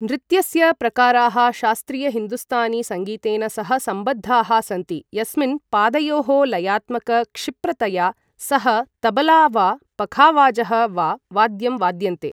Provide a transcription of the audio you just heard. नृत्यस्य प्रकाराः शास्त्रीय हिन्दुस्तानी सङ्गीतेन सह सम्बद्धाः सन्ति, यस्मिन् पादयोः लयात्मक क्षिप्रतया सह तबला वा पखावाजः वा वाद्यं वाद्यन्ते।